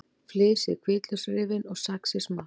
Flysjið hvítlauksrifin og saxið smátt.